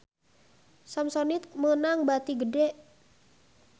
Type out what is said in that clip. Samsonite meunang bati gede